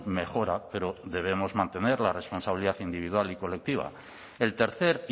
mejora pero debemos mantener la responsabilidad individual y colectiva el tercer